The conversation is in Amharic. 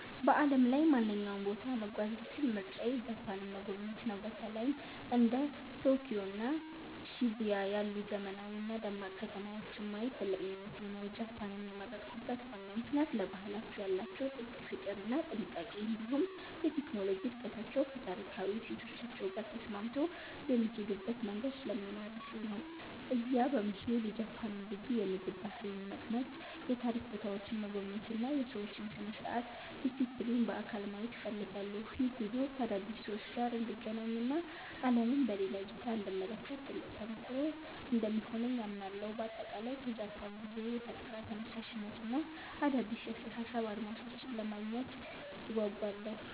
በዓለም ላይ ማንኛውንም ቦታ መጓዝ ብችል ምርጫዬ ጃፓንን መጎብኘት ነው። በተለይም እንደ ቶኪዮ እና ሺቡያ ያሉ ዘመናዊና ደማቅ ከተማዎችን ማየት ትልቅ ምኞቴ ነው። ጃፓንን የመረጥኩበት ዋናው ምክንያት ለባህላቸው ያላቸውን ጥልቅ ፍቅር እና ጥንቃቄ፣ እንዲሁም የቴክኖሎጂ እድገታቸው ከታሪካዊ እሴቶቻቸው ጋር ተስማምቶ የሚሄዱበት መንገድ ስለሚማርከኝ ነው። እዚያ በመሄድ የጃፓንን ልዩ የምግብ ባህል መቅመስ፣ የታሪክ ቦታዎችን መጎብኘት እና የሰዎችን ስርዓትና ዲሲፕሊን በአካል ማየት እፈልጋለሁ። ይህ ጉዞ ከአዳዲስ ሰዎች ጋር እንድገናኝ እና ዓለምን በሌላ እይታ እንድመለከት ትልቅ ተሞክሮ እንደሚሆነኝ አምናለሁ። በአጠቃላይ ከጃፓን ጉዞዬ የፈጠራ ተነሳሽነትን እና አዳዲስ የአስተሳሰብ አድማሶችን ለማግኘት እጓጓለሁ።